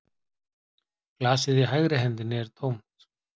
Glasið í hægri hendinni er tómt